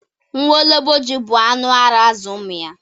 Nwologbo ji bụ anụ ara azụ ụmụ ya.